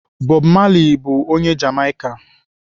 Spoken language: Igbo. Bob Marley bụ onye Jamaika.